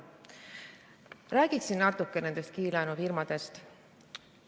Räägiksin natuke nendest kiirlaenufirmadest.